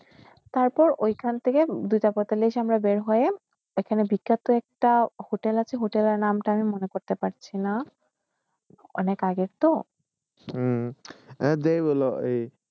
তারপর ঐখানটিকে দুটা পৈতালিশ আমরা বাইর হইয়ে এখানে বিখ্যাত একটা হোটেল আসে হোটেলের নাম মনে করতে পড়শী না অনেক আগে তো